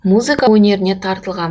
музыка өнеріне тартылған